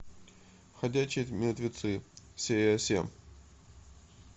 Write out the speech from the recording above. ходячие мертвецы серия семь